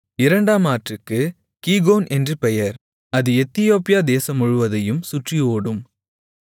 ஆற்றுக்கு கீகோன் என்று பெயர் அது எத்தியோப்பியா தேசம் முழுவதையும் சுற்றி ஓடும்